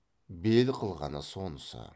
бел қылғаны сонысы